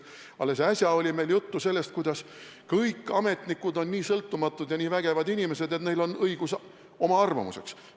Alles äsja oli meil juttu sellest, et kõik ametnikud on nii sõltumatud ja nii vägevad inimesed, et neil on õigus oma arvamuseks.